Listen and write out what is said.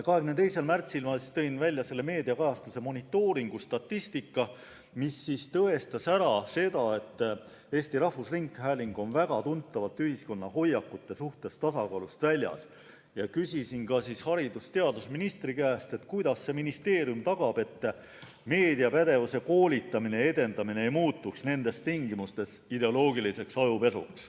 22. märtsil tõin ma välja meediakajastuse monitooringu statistika, mis tõestas, et Eesti Rahvusringhääling on väga tuntavalt ühiskonna hoiakute suhtes tasakaalust väljas, ning küsisin haridus- ja teadusministri käest, kuidas ministeerium tagab, et meediapädevusealane koolitamine, selle edendamine ei muutuks nendes tingimustes ideoloogiliseks ajupesuks.